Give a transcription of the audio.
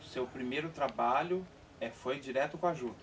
O seu primeiro trabalho, eh, foi direto com a juta?